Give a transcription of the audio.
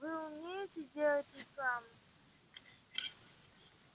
вы умеете делать рекламу